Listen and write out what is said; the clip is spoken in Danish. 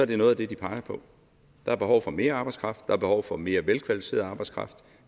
det noget af det de peger på der er behov for mere arbejdskraft der er behov for mere kvalificeret arbejdskraft